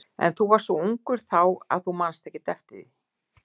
En þú varst svo ungur þá að þú manst ekkert eftir því.